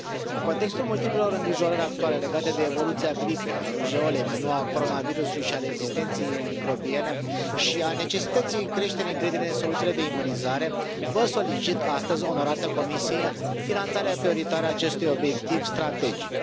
În contextul multiplelor îngrijorări actuale legate de evoluția gripei, a rujeolei, mai nou a coronavirusului și a rezistenței microbiene, precum și dată fiind necesitatea creșterii încrederii în soluțiile de imunizare, vă solicit astăzi, onorată Comisie, finanțarea prioritară a acestui obiectiv strategic.